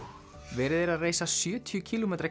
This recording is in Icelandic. verið er að reisa sjötíu kílómetra